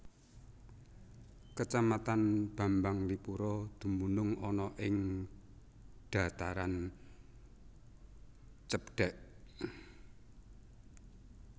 Kacamatan Bambanglipuro dumunung ana ing dhataran cebdhèk